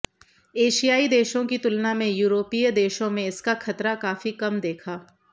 एशियाई देशों की तुलना में यूरोपीय देशों में इसका खतरा काफी कम देखा